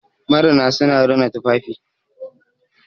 marina suna rina tufafi